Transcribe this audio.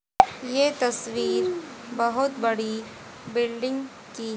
ये तस्वीर बहुत बड़ी बिल्डिंग की--